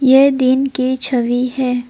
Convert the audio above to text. ये दिन की छवि है।